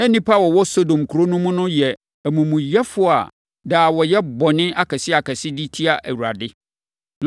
Na nnipa a wɔwɔ Sodom kuro no mu no yɛ amumuyɛfoɔ a daa wɔyɛ bɔne akɛseakɛseɛ de tia Awurade.